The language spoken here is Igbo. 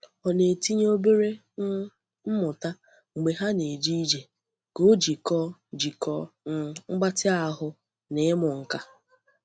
Ọ na-etinye obere um mmụta mgbe ha na-eje ije ka o jikọọ jikọọ um mgbatị ahụ na ịmụ nka.